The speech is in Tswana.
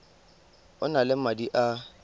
o na le madi a